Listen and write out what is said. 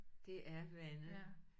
Det er vandet